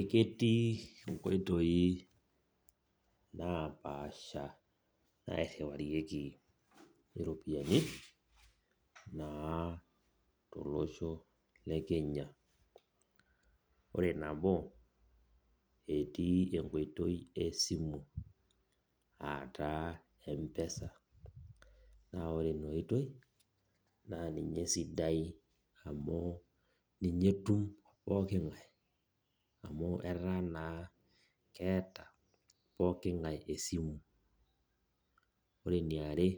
Eketii nkoitoi napaasha nairemiwarieki iropiyiani na tolosho le kenya ore nabo etii enkoitoi esimu etaa empesa na ore inaoitoi na ninye esidai amu ninye etum pooki ngae amu ataa naa keeta pooki ngae esimu ore enirmare